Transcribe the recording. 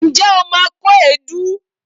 Ǹjẹ́ o ma kó èédú?